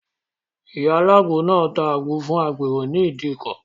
Ìyá alágbo náà ta àgbo fún agbèrò ní ìdíkọ̀.